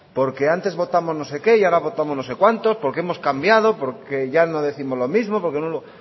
porque antes votamos no sé qué y ahora votamos no sé cuántos porque hemos cambiado porque ya no décimos lo mismo etcétera